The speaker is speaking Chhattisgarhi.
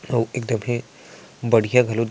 अउ एकदमहे बढ़िया घलो दिख--